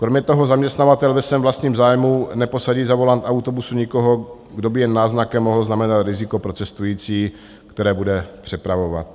Kromě toho zaměstnavatel ve svém vlastním zájmu neposadí za volant autobusu nikoho, kdo by jen náznakem mohl znamenat riziko pro cestující, které bude přepravovat.